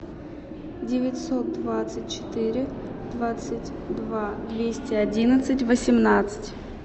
девятьсот двадцать четыре двадцать два двести одиннадцать восемнадцать